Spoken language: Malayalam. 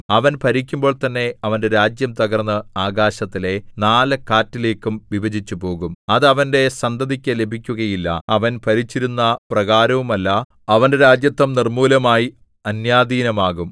അവൻ ഭരിക്കുമ്പോൾ തന്നെ അവന്റെ രാജ്യം തകർന്ന് ആകാശത്തിലെ നാല് കാറ്റിലേക്കും വിഭജിച്ചു പോകും അത് അവന്റെ സന്തതിക്ക് ലഭിക്കുകയില്ല അവൻ ഭരിച്ചിരുന്ന പ്രകാരവുമല്ല അവന്റെ രാജത്വം നിർമ്മൂലമായി അന്യാധീനമാകും